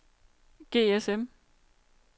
GSM